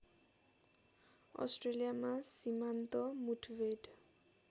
अस्ट्रेलियामा सीमान्त मुठभेड